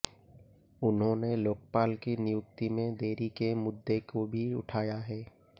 उन्होंने लोकपाल की नियुक्ति में देरी के मुद्दे को भी उठाया है